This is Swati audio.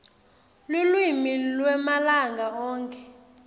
lulwimi lwemalanga onkhe